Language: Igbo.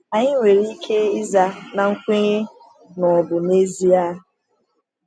Anyị nwere ike ịza na nkwenye na ọ bụ n’ezie!